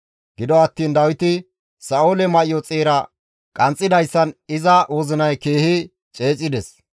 Gido attiin Dawiti Sa7oole may7o xeera qanxxidayssan iza wozinay keehi ceecides.